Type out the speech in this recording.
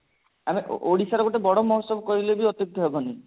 ମାନେ ଓଡିଶାର ଗୋଟେ ବଡ ମହୋତ୍ସବ କହିଲେ ବି ଅତ୍ୟୁକ୍ତ ହବନି